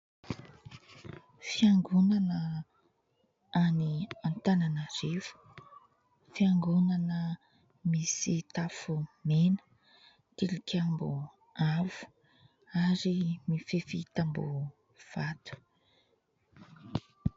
Fiangonana any Antananarivo, fiangonana misy tafo mena, tilikambo avo ary mifefy tamboho vato.